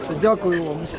Hamınıza təşəkkür edirəm.